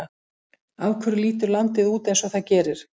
Af hverju lítur landið út eins og það gerir?